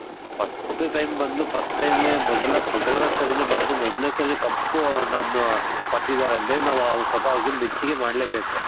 first time ಬಂದು first time ಮೊದಲ ಮೊದಲ್ನೇ ಸರಿನೆ ಬಂದು ಮೊದಲ್ನೇ ಸರಿ ಕಪ್ಪು ನಮ್ಮ ಪಡೆದಿದಾರೆ ಅಂದ್ರೆ ನಾವು ಸ್ವಲ್ಪ ಅವರ್ಗೆ ಮೆಚ್ಚುಗೆ ಮಾಡ್ಲೇ ಬೇಕು.